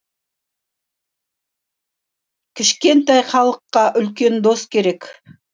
кішкентай халыққа үлкен дос керек